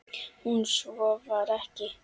En svo var ekki.